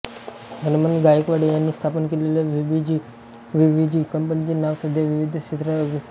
हणमंत गायकवाड यांनी स्थापन केलेल्या बीव्हीजी कंपनीचे नाव सध्या विविध क्षेत्रांत अग्रेसर आहे